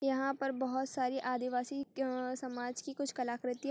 यहाँ पर बोहोत सारी आदिवासी अअअ समाज की कुछ कलाकृति--